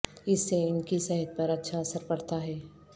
اس سے ان کی صحت پر اچھا اثر پڑتا ہے